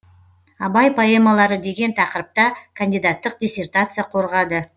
абай поэмалары деген тақырыпта кандидаттық диссертация қорғады